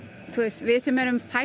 fædd á ákveðnu tímabili